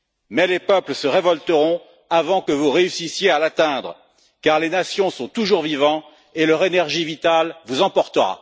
Mais les peuples se révolteront avant que vous réussissiez à l'atteindre, car les nations sont toujours vivantes et leur énergie vitale vous emportera.